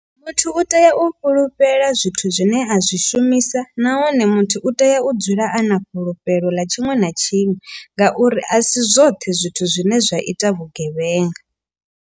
Muthu u tea u fhulufhela zwithu zwine a zwi shumisa. Nahone muthu u tea u dzula a na fhulufhelo ḽa tshiṅwe na tshiṅwe. Ngauri a si zwoṱhe zwithu zwine zwa ita vhugevhenga.